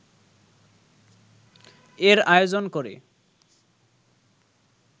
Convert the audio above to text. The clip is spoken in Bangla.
এর আয়োজন করে